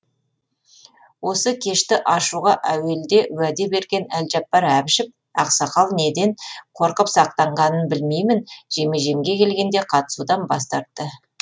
осы кешті ашуға әуелде уәде берген әлжаппар әбішев ақсақал неден қорқып сақтанғанын білмеймін жеме жемге келгенде қатысудан бас тартты